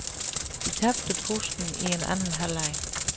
De tabte pusten i anden halvleg.